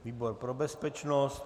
Výbor pro bezpečnost.